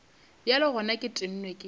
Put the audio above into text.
bjale gona ke tennwe ke